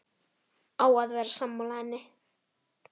Á að vera sammála henni.